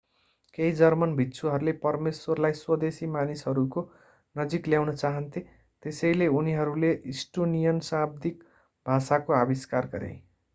केही जर्मन भिक्षुहरूले परमेश्वरलाई स्वदेशी मानिसहरूको नजिक ल्याउन चाहन्थे त्यसैले उनीहरूले इस्टोनियन शाब्दिक भाषाको आविष्कार गरे